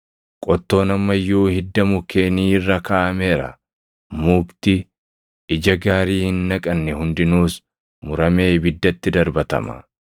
Qottoon amma iyyuu hidda mukkeenii irra kaaʼameera; mukti ija gaarii hin naqanne hundinuus muramee ibiddatti darbatama.”